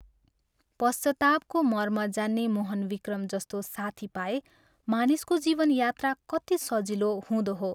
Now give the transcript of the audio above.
पश्चातापको मर्म जान्ने मोहन विक्रम जस्तो साथी पाए मानिसको जीवन यात्रा कति सजिलो हुँदो हो?